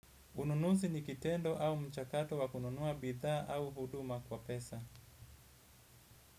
Ununuzi ni kitendo au mchakato wakununua bithaa au huduma kwa pesa.